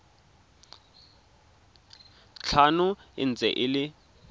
tlhano e ntse e le